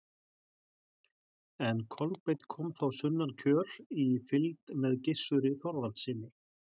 en kolbeinn kom þá sunnan kjöl í fylgd með gissuri þorvaldssyni